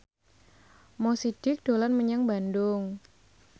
Mo Sidik dolan menyang Bandung